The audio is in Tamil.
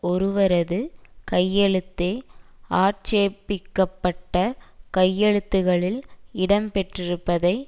ஒருவரது கையெழுத்தே ஆட்சேபிக்கப்பட்ட கையெழுத்துகளில் இடம்பெற்றிருப்பதை